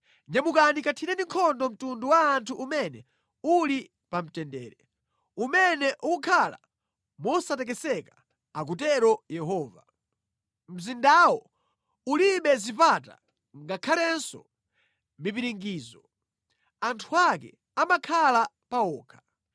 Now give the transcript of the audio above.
“Nyamukani kathireni nkhondo mtundu wa anthu umene uli pamtendere, umene ukukhala mosatekeseka,” akutero Yehova, “mzindawo ulibe zipata ngakhalenso mipiringidzo; anthu ake amakhala pa okha.